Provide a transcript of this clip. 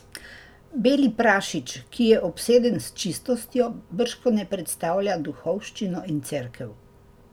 Beli prašič, ki je obseden s čistostjo, bržkone predstavlja duhovščino in Cerkev.